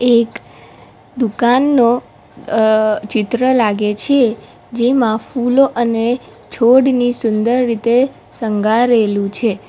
એક દુકાનનો અહ ચિત્ર લાગે છે જેમાં ફૂલો અને છોડની સુંદર રીતે સંગારેલું છે.